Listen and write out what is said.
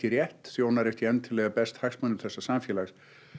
rétt þjónar ekki endilega best hagsmunum þessa samfélags